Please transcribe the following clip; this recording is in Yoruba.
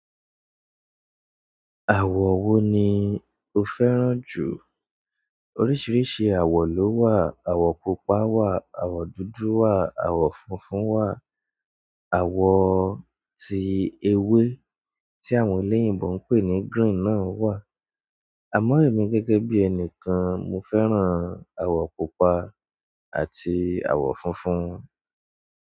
Àwọ̀ wo ni o fẹ́ràn jù? Oríṣiríṣi àwọ̀ ló wà. Àwọ̀ pupa wà, àwọ̀ dúdú wà, àwọ̀ funfun wà, àwọ̀ tí ewé tí àwọn eleyìnbọn ń pè ní green náà wà. Àmọ́ èmi gẹ́gẹ́ bí ẹni kan, mo fẹ́ràn àwọ̀ pupa àti àwọ̀ funfun.